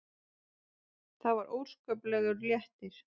Það var óskaplegur léttir.